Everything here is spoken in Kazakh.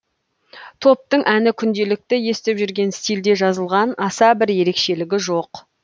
топтың әні күнделікті естіп жүрген стильде жазылған аса бір ерекшелік жоқ